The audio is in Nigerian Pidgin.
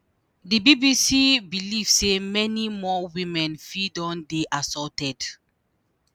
di bbc believe say many more women fit don dey assaulted.